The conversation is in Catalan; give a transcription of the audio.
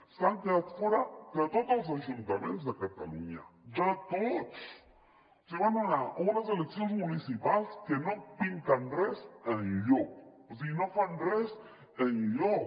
s’han quedat fora de tots els ajuntaments de catalunya de tots o sigui van anar a unes eleccions municipals que no pinten res enlloc o sigui no fan res enlloc